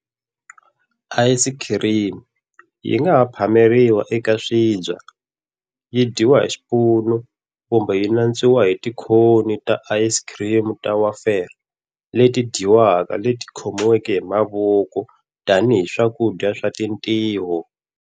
Ayisikhirimi yi nga ha phameriwa eka swibya, yi dyiwa hi xipunu kumbe yi nantswa hi tikhoni ta ayisikhirimi ta wafer leti dyiwaka leti khomiweke hi mavoko tanihi swakudya swa tintiho.